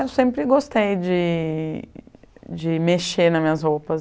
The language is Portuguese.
Eu sempre gostei de de mexer nas minhas roupas.